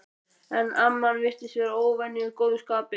En amman virtist vera í óvenju góðu skapi.